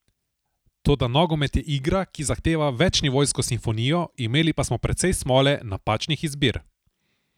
Toda nogomet je igra, ki zahteva večnivojsko simfonijo, imeli pa smo precej smole, napačnih izbir.